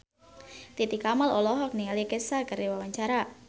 Titi Kamal olohok ningali Kesha keur diwawancara